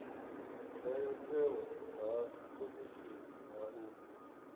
ndayotewa ha khomishini ha u